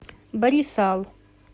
барисал